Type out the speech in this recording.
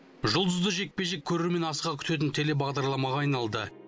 жұлдызды жекпе жек көрермен асыға күтетін телебағдарламаға айналды